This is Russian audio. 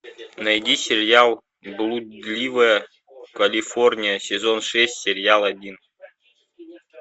найди сериал блудливая калифорния сезон шесть серия один